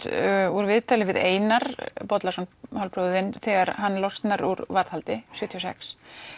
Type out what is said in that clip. úr viðtali við Einar Bollason hálfbróður þinn þegar hann losnar úr varðhaldi nítján sjötíu og sex